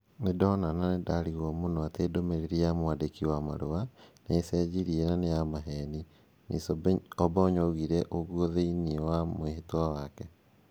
"Nĩ ndona na nĩ ndariguo mũno atĩ ndũmĩrĩri ya mwandĩki wa marũa... nĩ ĩcenjirie na nĩ ya maheni." Ms Obonyo oigire ũguo thĩinie wa mwĩhĩtwa wake.